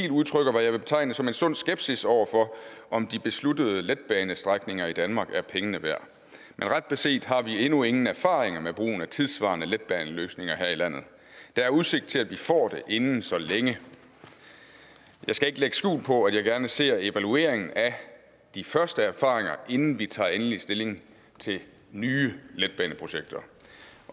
udtrykker hvad jeg vil betegne som en sund skepsis over for om de besluttede letbanestrækninger i danmark er pengene værd men ret beset har vi endnu ingen erfaringer med brugen af tidssvarende letbaneløsninger her i landet der er udsigt til at vi får det inden så længe jeg skal ikke lægge skjul på at jeg gerne ser evalueringen af de første erfaringer inden vi tager endelig stilling til nye letbaneprojekter